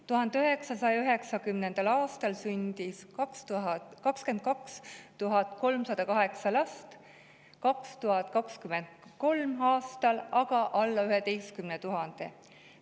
1990. aastal sündis 22 308 last, 2023. aastal aga alla 11 000.